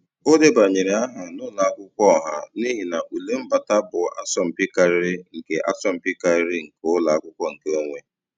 O debanyere aha n'ụlọ akwụkwọ ọha n'ihi na ule mbata bụ asọmpi karịrị nke asọmpi karịrị nke ụlọ akwụkwọ nkeonwe.